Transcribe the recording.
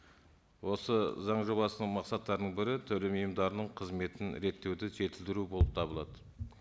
осы заң жобасының мақсаттарының бірі төлем ұйымдарының қызметін реттеуді жетілдіру болып табылады